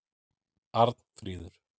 Arnfríður